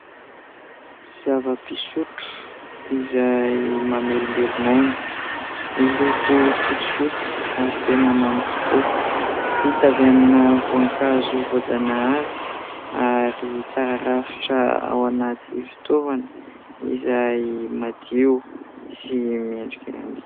Zava-pisotro izay mamelombelona aina, miloko fotsifotsy ary tena mamy tokoa ; vita avy amina voankazo voajanahary ary tsara rafitra ao anaty fitaovana izay madio sy mendrika ihany.